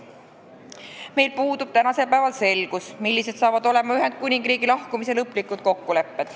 Praegu puudub meil selgus, millised on Ühendkuningriigi lahkumise lõplikud kokkulepped.